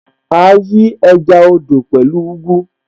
À á yí ẹja odò pẹ̀lú ugu